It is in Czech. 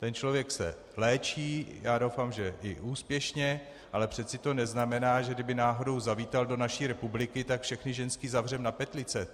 Ten člověk se léčí, já doufám, že i úspěšně, ale přece to neznamená, že kdyby náhodou zavítal do naší republiky, tak všechny ženské zavřeme na petlice.